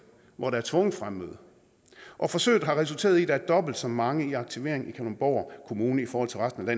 hvor der er tvunget fremmøde og forsøget har resulteret i at der er dobbelt så mange i aktivering i kalundborg kommune i forhold til resten af